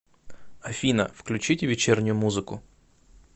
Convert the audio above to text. афина включите вечернюю музыку